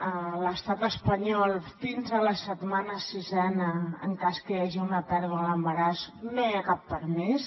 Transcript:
a l’estat espanyol fins a la setmana sisena en cas que hi hagi una pèrdua a l’embaràs no hi ha cap permís